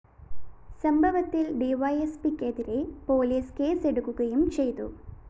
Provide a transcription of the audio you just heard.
സംഭവത്തില്‍ ഡിവൈഎസ്പിക്കെതിരേ പോലീസ് കേസെടുക്കുകയും ചെയ്തു